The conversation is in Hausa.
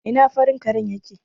Ina farin karen yake?